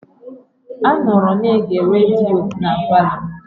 A nọọrọ na-ege rediyo na palọ.